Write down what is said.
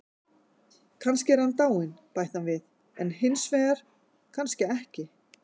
Kannski er hann dáinn, bætti hann við, en hinsvegar, kannski ekki.